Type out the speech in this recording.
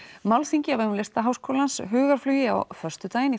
málþingi á vegum Listaháskólans hugarflugi á föstudaginn